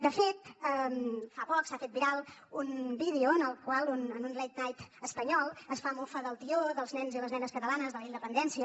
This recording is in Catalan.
de fet fa poc s’ha fet viral un vídeo en el qual en un late night espanyol es fa mofa del tió dels nens i les nenes catalanes de la independència